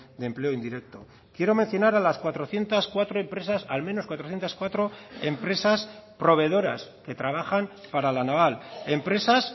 de empleo indirecto quiero mencionar a las cuatrocientos cuatro empresas al menos cuatrocientos cuatro empresas proveedoras que trabajan para la naval empresas